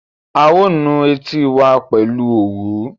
A ó nu etí wa pẹ̀lú òwú